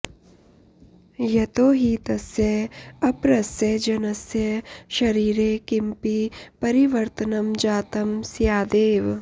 यतो हि तस्य अपरस्य जनस्य शरीरे किमपि परिवर्तनं जातं स्यादेव